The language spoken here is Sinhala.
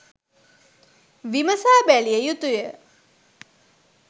විමසා බැලිය යුතු ය